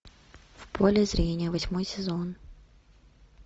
в поле зрения восьмой сезон